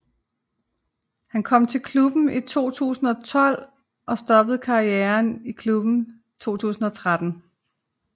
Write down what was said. Han kom til klubben i 2012 og stoppede karrieren i klubben i 2013